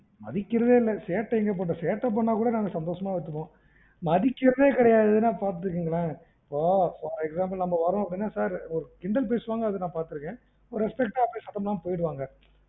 மதிக்கிறதே இல்ல, சேட்டை எங்க பண்றது? சேட்டை பண்னுனாக் கூட நாங்க சந்தோசமா எடுத்துப்போம். மதிக்கிறதே கிடையாதுன்னா பாத்துக்கோங்களேன். இப்போ for example நம்ம வர்றோம் அப்டீன்னா sir ஒரு கிண்டல் பேசுவாங்க அத நா பாத்துருக்கன். ஒரு respect ஆ பேசாம போயிடுவாங்க.